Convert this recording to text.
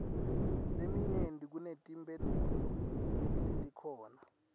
leminyenti kunetimphendvulo letikhona